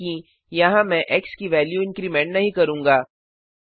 मानिए कि यहाँ मैं एक्स की वेल्यू इन्क्रिमेंट नहीं करूँगा